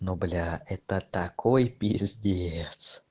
ну блядь это такой пиздец